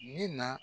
Min na